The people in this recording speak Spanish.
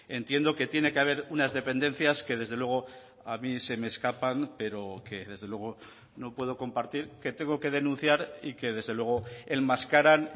entiendo que tiene que haber unas dependencias que desde luego a mí se me escapan pero que desde luego no puedo compartir que tengo que denunciar y que desde luego enmascaran